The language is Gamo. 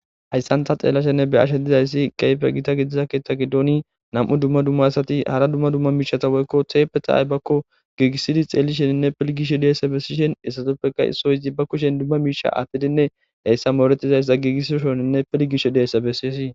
Hayssan tha xeellashe dizayssi keehipe githa gidida keeththa giddoni nam7u dumma dumma asathi hara dumma dumma miishshatha woykko theeppetha aybakko giigissidi xeellisheninne pilggishe deesa bessishe he asathuppekka issoy zibba kushen miishsha aaththidinne heyssa mooreththidazayssa giigissoshenine pilggishe do7isa bessesi.